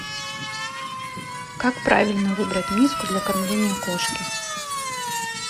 как правильно выбрать миску для кормления кошки